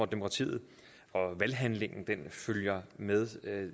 demokratiet og valghandlingen følger med tiden